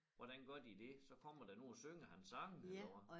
Hvordan gør de det så kommer der nogen og synger hans sange eller hvad?